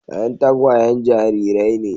Yan tagwayen jarirai ne.